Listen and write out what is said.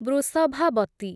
Vrishabhavati